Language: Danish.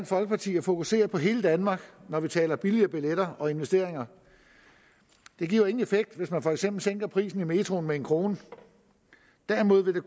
folkeparti at fokusere på hele danmark når vi taler om billigere billetter og investeringer det giver jo ingen effekt hvis man for eksempel sænker prisen i metroen med en kroner derimod vil